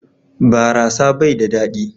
Barasa bai da dadi.